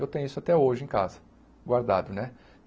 Eu tenho isso até hoje em casa, guardado, né?